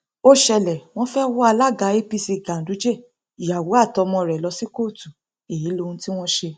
ó ṣẹlẹ wọn fẹẹ wọ alága apc ganduje ìyàwó àti ọmọ rẹ lọ sí kóòtù èyí lóhun tí wọn ṣe